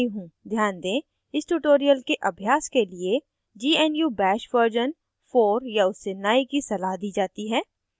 ध्यान दें इस tutorial के अभ्यास के लिए gnu bash version 4 या उससे नए की सलाह दी जाती है